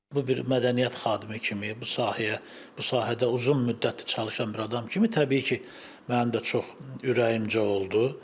Bu bir mədəniyyət xadimi kimi, bu sahəyə, bu sahədə uzun müddətdir çalışan bir adam kimi təbii ki, mənim də çox ürəyimcə oldu.